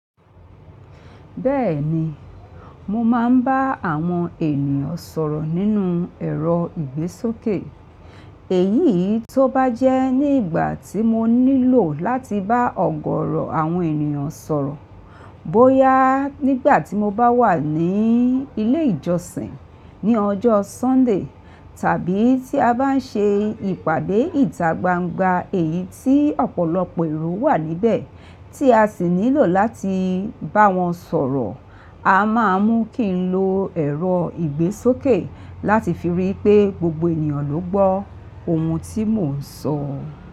Bẹ́ẹ̀ni, mo máa ń bá àwọn ènìyàn sọ̀rọ̀ nínú ẹ̀rọ ìgbésókè. Èyí tó bá jẹ́ ní ìgbà tí mo nílò láti bá ọ̀gọọrọ̀ àwọn ènìyàn sọ̀rọ̀. Bóyá nígbà tí mo bá wà ní ilé ìjọsìn ní ọjọ́ Sunday, tàbí tí a bá ń ṣe ìpàdé ìdágbàgbà èyí tí ọ̀pọ̀lọpọ̀ èrò wà níbẹ̀ tí a sì nílò láti bá wọn sọ̀rọ̀. A má a mú kí ń lo ẹ̀rọ ìgbésókè láti fi ríi pé gbogbo ènìyàn ló gbọ́ ohun tí mò ń sọ.